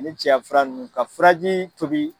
Ni cɛya fura nunnu ,ka furaji tobi